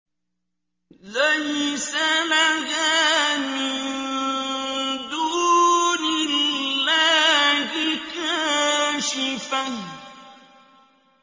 لَيْسَ لَهَا مِن دُونِ اللَّهِ كَاشِفَةٌ